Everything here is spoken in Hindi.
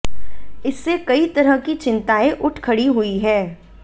इससे कई तरह की चिंताएं उठ खड़ी हुई हैं